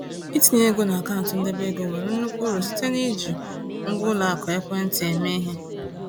Itinye ego n’akaụntụ ndebe ego nwere nnukwu uru site n’iji ngwa ụlọ akụ ekwentị eme ihe.